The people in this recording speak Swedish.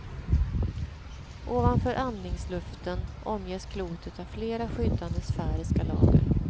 Ovanför andningsluften omges klotet av flera skyddande sfäriska lager.